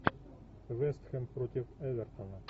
вест хэм против эвертона